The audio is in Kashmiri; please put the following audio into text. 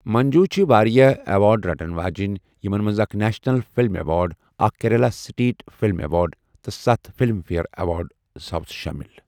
منجو چھِ واریاہ ایوارڈ رٹن واجٮ۪ن یِمَن منٛز اکھ نیشنل فلم ایوارڈ، اکھ کیرالہ سٹیٹ فلم ایوارڈ تہٕ ستھ فلم فیئر ایوارڈ ساؤتھ شٲمِل۔